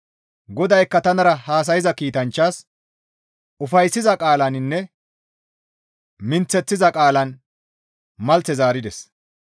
GODAYKKA tanara haasayza kiitanchchaas ufayssiza qaalaninne minththeththiza qaalan malthe zaarides.